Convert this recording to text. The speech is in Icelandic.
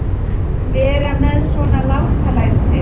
Vera með svona látalæti.